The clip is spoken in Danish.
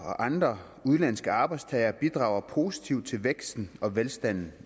og andre udenlandske arbejdstagere bidrager positivt til væksten og velstanden